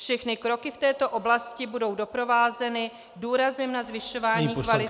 Všechny kroky v této oblasti budou doprovázeny důrazem na zvyšování kvality -